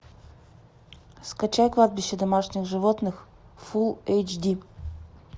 скачай кладбище домашних животных фулл эйч ди